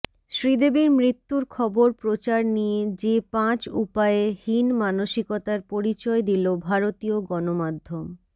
শ্রীদেবীর মৃত্যুর খবর প্রচার নিয়ে যে পাঁচ উপায়ে হীন মানসিকতার পরিচয় দিল ভারতীয় গণমাধ্যম